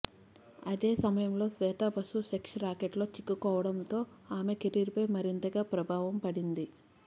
అదే సమయంలో Shweta Basu sex racket లో చిక్కుకోవడంతో ఆమె కెరీర్ పై మరింతగా ప్రభావం పడింది